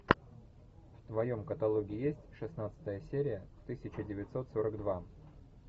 в твоем каталоге есть шестнадцатая серия тысяча девятьсот сорок два